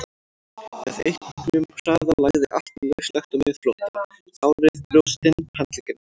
Með auknum hraða lagði allt lauslegt á miðflótta, hárið, brjóstin, handleggirnir.